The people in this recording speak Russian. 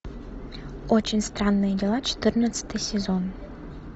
очень странные дела четырнадцатый сезон